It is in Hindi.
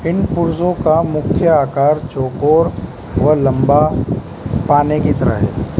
इन पुर्जों का मुख्य आकार चौकोर व लंबा पाने की तरह है।